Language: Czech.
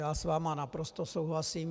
Já s vámi naprosto souhlasím.